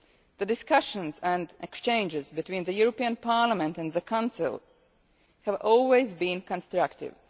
The discussions and exchanges between the European Parliament and the Council have always been constructive.